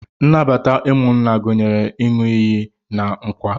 Nnabata ụmụnna gụnyere ịn̄ụ iyi na nkwa.